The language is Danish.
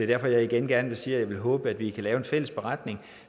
derfor jeg igen gerne vil sige at jeg vil håbe at vi kan lave en fælles beretning